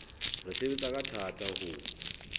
re sebetsa ka thata ho